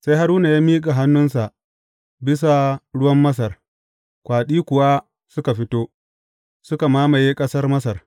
Sai Haruna ya miƙa hannunsa bisa ruwan Masar, kwaɗi kuwa suka fito, suka mamaye ƙasar Masar.